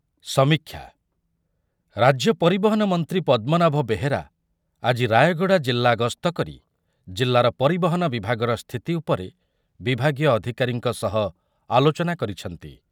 ସମୀକ୍ଷା, ରାଜ୍ୟ ପରିବହନ ମନ୍ତ୍ରୀ ପଦ୍ମନାଭ ବେହେରା ଆଜି ରାୟଗଡ଼ା ଜିଲ୍ଲା ଗସ୍ତ କରି ଜିଲ୍ଲାର ପରିବହନ ବିଭାଗର ସ୍ଥିତି ଉପରେ ବିଭାଗୀୟ ଅଧିକାରୀଙ୍କ ସହ ଆଲୋଚନା କରିଛନ୍ତି ।